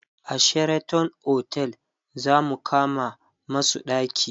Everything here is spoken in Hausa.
a Sheraton otel zamu kama masu ɗaki